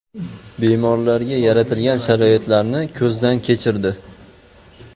Bemorlarga yaratilgan sharoitlarni ko‘zdan kechirdi.